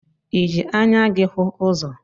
I jị anya gi hụ ụzọ?